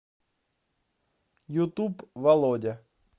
ютуб володя